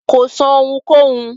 Kò sọ́ ohunkóhun.